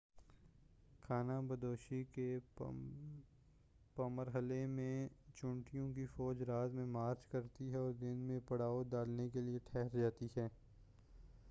خانہ بدوشی کے پمرحلہ میں چیونٹیوں کی فوج رات میں مارچ کرتی ہے اور دن میں پڑاؤ ڈالنے کے لئے تھہر جاتی ہیں